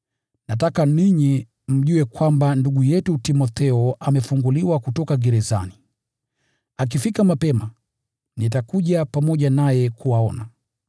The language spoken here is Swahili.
Nataka ninyi mjue kwamba ndugu yetu Timotheo amefunguliwa kutoka gerezani. Akifika mapema, nitakuja pamoja naye kuwaona.